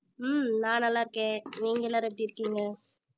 ஹம் நான் நல்லா இருக்கேன் நீங்க எல்லாரும் எப்படி இருக்கீங்க